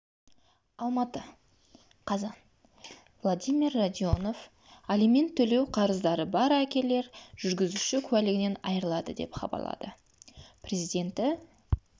алматы қазан владимир радионов алимент төлеу қарыздары бар әкелер жүргізуші куәлігінен айырылады деп хабарлады президенті